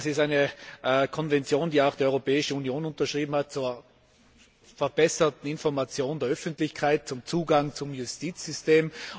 Wir wissen, das ist eine Konvention, die auch die Europäische Union unterschrieben hat, zur verbesserten Information der Öffentlichkeit zum Zugang zum Justizsystem.